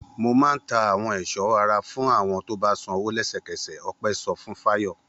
Mo máa ń ta àwọn èso ara fún àwọn tó bá sanwó lẹ́sẹ̀kẹsẹ̀! Ọpẹ́ sọ fún Fayọ̀.